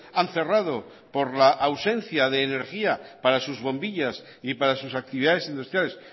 han cerrado por la ausencia de energía para sus bombillas y para sus actividades industriales